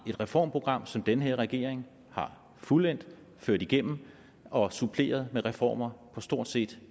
reformprogram som denne regering har fuldendt ført igennem og suppleret med reformer på stort set